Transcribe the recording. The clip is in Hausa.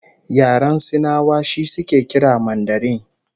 Yaren Sinawa shi suke kira Mandarin